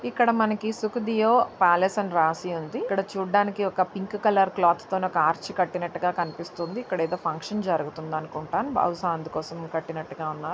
ఇక్కడ మనకి సుఖదియో ప్యాలస్ అని రాసి ఉంది. ఇక్కడ చూడ్డానికి ఒక పింక్ కలర్ క్లాత్ తోని ఒక ఆర్చ్ కట్టినట్టు కనిపిస్తుంది. ఇక్కడ ఏదో ఫంక్షన్ జరుగుతుంది అనుకుంటా. బహుశా అందుకోసమే కట్టినట్టుగా ఉన్నారు.